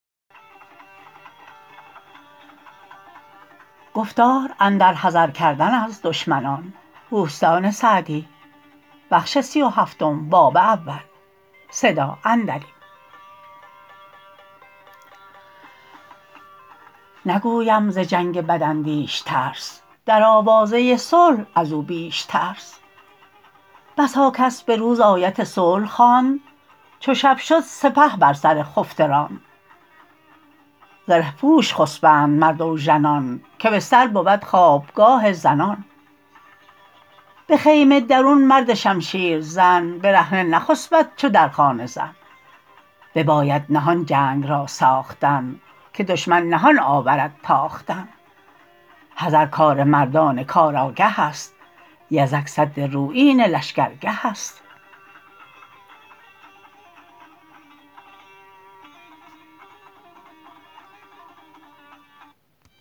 نگویم ز جنگ بد اندیش ترس در آوازه صلح از او بیش ترس بسا کس به روز آیت صلح خواند چو شب شد سپه بر سر خفته راند زره پوش خسبند مرد اوژنان که بستر بود خوابگاه زنان به خیمه درون مرد شمشیر زن برهنه نخسبد چو در خانه زن بباید نهان جنگ را ساختن که دشمن نهان آورد تاختن حذر کار مردان کار آگه است یزک سد رویین لشکر گه است